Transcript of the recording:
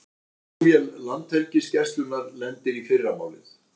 Flugvél Landhelgisgæslunnar lendir í fyrramálið